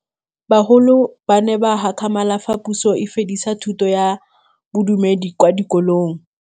Bagolo ba ne ba gakgamala fa Pusô e fedisa thutô ya Bodumedi kwa dikolong.